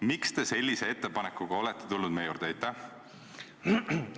Miks te sellise ettepanekuga olete meie juurde tulnud?